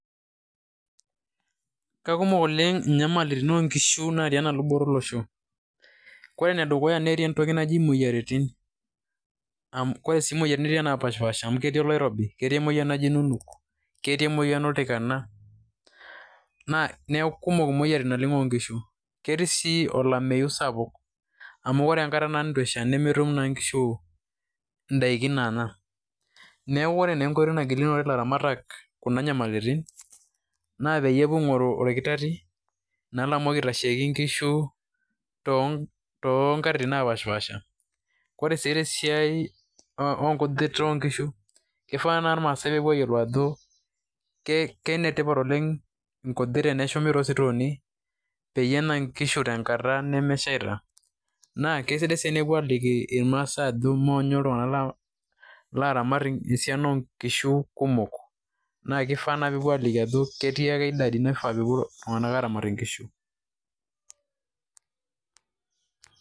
kakumok oleng' inyamaritin oo nkishu natii ena luboto olosho. Kore enedukuya netii entoki naji imoyiaritin, kore sii imoyiaritin netii napaashipasha amu ketii olaorobi, ketii emoyian najii nunuk, ketii emoyian oltikana, neeku kumok naleng' imoyiaritin oo nkishu. Ketii sii olameyu sapuk amu ore enkata naa nituesha nemetum naa inkishu indaikin naanya. Neeku ore naa enkoitoi nagilunore ilaramatak kuna nyamaliti naa peyie epuo aing'oru oritar'rri, naa lamoki aitasheki inkishu too nkatitin napaashipaasha. Kore sii te siai oo ng'ujit oo nkishu, kifaa naa irmaasai peepuo ayiolou ajo kenetipat oleng' inkujit teneshumi too sitoni peyie enya inkishu tenkata nemeshaita. Naa kesidai sii naa enepui aaliki irmaasai ajo moonyo iltung'anak laramat esiana oo nkishu kumok naake ifaa naa peepoi aaliki ajo ketii ake idadi naifaa peepou iltung'anak aramatie inkishu.